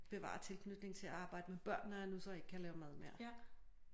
Bevare tilknytningen til at arbejde med børn når jeg nu så ikke kan lave mad mere